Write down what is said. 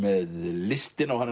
listina og